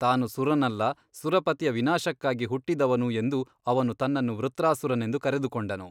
ತಾನು ಸುರನಲ್ಲ ಸುರಪತಿಯ ವಿನಾಶಕ್ಕಾಗಿ ಹುಟ್ಟಿದವನು ಎಂದು ಅವನು ತನ್ನನ್ನು ವೃತ್ರಾಸುರನೆಂದು ಕರೆದುಕೊಂಡನು.